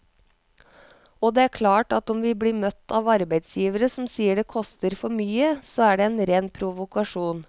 Og det er klart at om vi blir møtt av arbeidsgivere som sier det koster for mye, så er det en ren provokasjon.